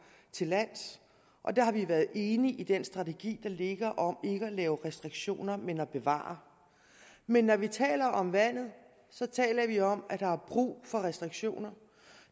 til lands og der har vi været enige i den strategi der ligger om ikke at lave restriktioner men at bevare men når vi taler om vandet så taler vi om at der er brug for restriktioner